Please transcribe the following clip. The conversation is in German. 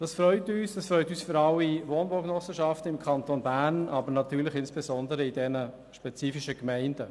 Das freut uns für alle Wohnbaugenossenschaften im Kanton Bern und natürlich insbesondere für jene in diesen spezifischen Gemeinden.